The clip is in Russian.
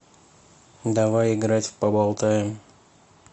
давай играть в поболтаем